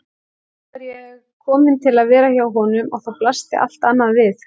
Nú var ég komin til að vera hjá honum og þá blasti allt annað við.